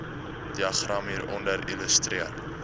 diagram hieronder illustreer